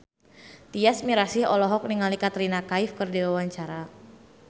Tyas Mirasih olohok ningali Katrina Kaif keur diwawancara